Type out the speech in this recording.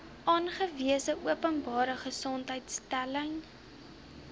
aangewese openbare gesondheidsinstelling